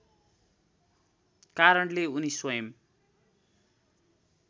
कारणले उनी स्वयम्